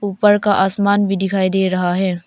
ऊपर का आसमान भी दिखाई दे रहा है।